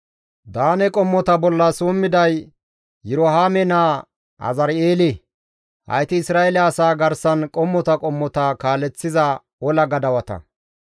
Daane qommo bolla summiday Yirohaame naa Azari7eele. Hayti Isra7eele asaa garsan qommota qommota kaaleththiza ola gadawata.